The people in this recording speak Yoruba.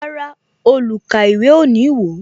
Rárá, olukaiwe o ní wo